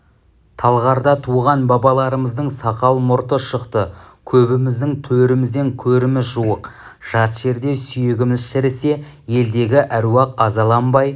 талғарда туған балаларымыздың сақал-мұрты шықты көбіміздің төрімізден көріміз жуық жат жерде сүйегіміз шірісе елдегі әруақ азаланбай